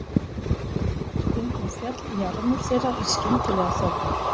Stundum féll jarmur þeirra í skyndilega þögn.